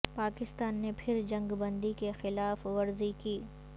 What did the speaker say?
پاکستان نے پھر جنگ بندی کی خلاف ورزی کی